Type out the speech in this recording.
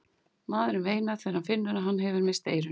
Maðurinn veinar þegar hann finnur að hann hefur misst eyrun.